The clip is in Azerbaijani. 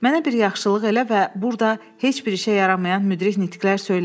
Mənə bir yaxşılıq elə və burda heç bir işə yaramayan müdrik nitqlər söyləmə.